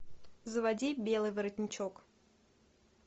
заводи белый воротничок